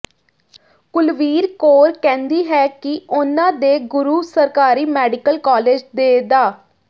ਕੁਲਵੀਰ ਕੌਰ ਕਹਿੰਦੀ ਹੈ ਕਿ ਉਨ੍ਹਾਂ ਦੇ ਗੁਰੂ ਸਰਕਾਰੀ ਮੈਡੀਕਲ ਕਾਲਜ ਦੇ ਡਾ